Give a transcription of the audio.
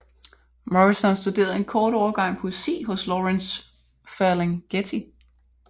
Morrison studerede en kort overgang poesi hos Lawrence Ferlinghetti